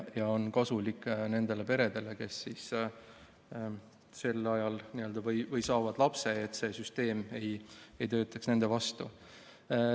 See on kasulik nendele peredele, kes saavad lapse, selleks et see süsteem ei töötaks nende vastu.